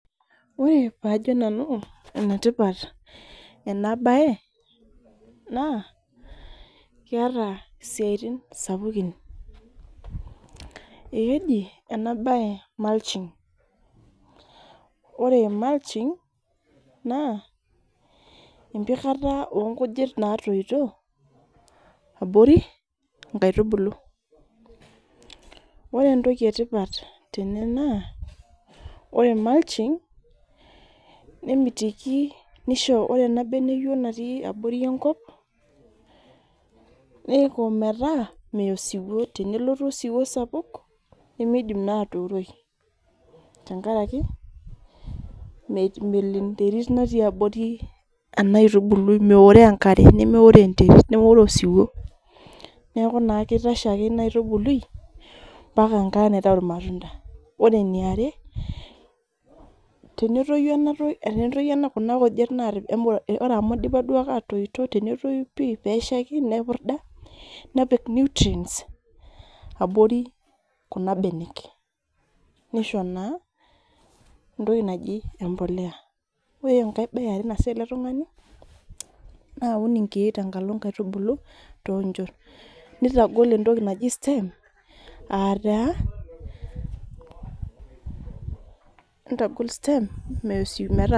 Ore pajo nanu enetipat enabae, naa, keeta isiaitin sapukin. Ekeji enabae mulching. Ore mulching naa, empikata onkujit natoito, abori nkaitubulu. Ore entoki etipat tene naa, ore mulching, nemitiki nisho ore ena beneyio natii abori enkop, niko metaa meya osiwuo. Tenelotu osiwuo sapuk, nimidim naa atuuroi. Tenkaraki, melo enterit natii abori enaitubului, meoroo enkare nemeoroo enterit, nemeoroo osiwuo. Neeku naa kitasho ake ina aitubului, mpaka enkata naitau irmatunda. Ore eniare, tenetoyu kuna kujit ore amu dipa duo ake atoito, tenetoyu pi neshaiki nepurda, nepik nutrients abori kuna kujit. Nisho naa, entoki aji empolea. Ore enkae bae eare naasita ele tung'ani, na aun inkeek tenkalo nkaitubulu. Nitagol entoki naji stem, ataa, nitagol stem ,meya osiwuo metaa